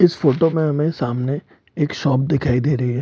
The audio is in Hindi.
इस फोटो में हमें सामने एक शॉप दिखाई दे रही है ।